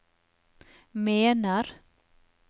mener